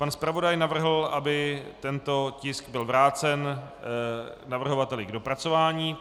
Pan zpravodaj navrhl, aby tento tisk byl vrácen navrhovateli k dopracování.